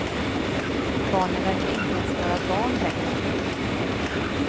Barnen verkar inte ens vara barn längre.